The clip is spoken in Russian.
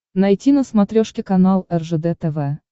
найти на смотрешке канал ржд тв